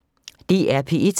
DR P1